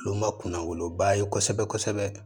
Olu ma kunna woloba ye kosɛbɛ kosɛbɛ